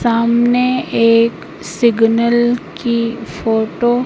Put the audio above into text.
सामने एक सिग्नल की फोटो --